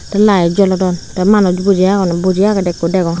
te light jolodon te manuch buji agon buji agede ekko degong.